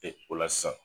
Ee o la sisan